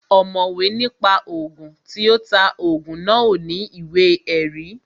Ọ̀mọ̀wé ní pa Ògùn, tí ó ta Ògùn náà ò ní ìwé ẹ̀rí